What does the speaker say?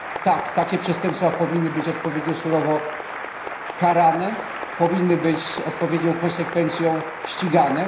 Tak takie przestępstwa powinny być odpowiednio surowo karane, powinny być z odpowiednią konsekwencją ścigane.